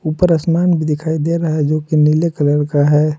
ऊपर आसमान भी दिखाई दे रहा है जो कि नीले कलर का है।